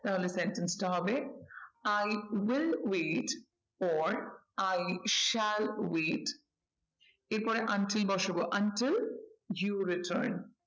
তাহলে sentence টা হবে i will wait or i shall wait এর পরে until বসাবো you return